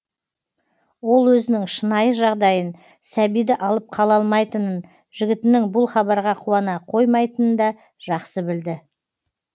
ол өзінің шынайы жағдайын сәбиді алып қала алмайтынын жігітінің бұл хабарға қуана қоймайтынында жақсы білді